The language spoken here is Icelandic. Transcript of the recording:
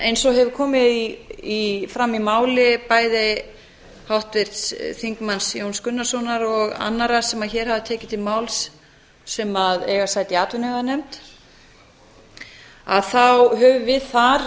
eins og hefur komið fram í máli bæði háttvirts þingmanns jóns gunnarssonar og annarra sem hér hafa tekið til máls sem eiga sæti í atvinnuveganefnd höfum